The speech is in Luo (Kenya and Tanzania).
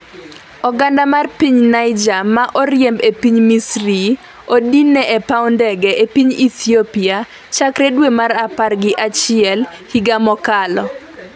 oganda mar piny Niger ma oriemb e piny misri odinne e paw ndege e piny Ethiopia chakre dwe mar apar gi achiel higa mokalo.